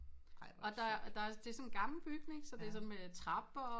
Og der er der er det er sådan en gammel bygning så det er sådan med trapper